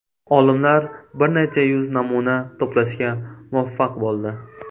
Olimlar bir necha yuz namuna to‘plashga muvaffaq bo‘ldi.